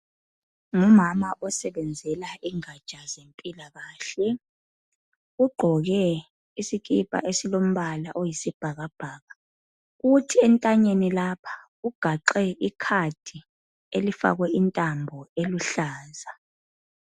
Ngumama osebenzela ingatsha ze mpilakahle. Ugqoke isikipa esilombala oyisibhakabhaka. Kuthi entanyeni lapha ugaxe ikhadi, elifakwe intambo eluhlaza.